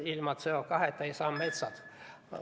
Ilma CO2-ta ei saa metsad ...